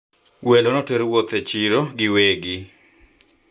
wageni walitembezwa sokoni na wenyeji